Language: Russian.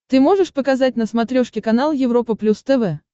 ты можешь показать на смотрешке канал европа плюс тв